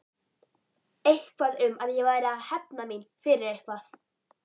Eitthvað um að ég væri að hefna mína fyrir eitthvað.